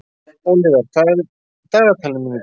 Ólíver, hvað er í dagatalinu mínu í dag?